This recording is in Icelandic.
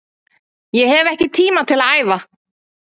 Ég hef ekki tíma til að æfa